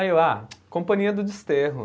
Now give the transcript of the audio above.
Aí eu, ah, Companhia do Desterro.